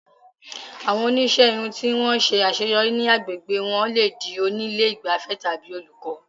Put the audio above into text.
Àwọn oníṣẹ́ irun tí wọ́n ṣe àṣeyọrí ní àgbègbè wọn lè di oní ilé ìgbafẹ́ tàbí olùkọ́.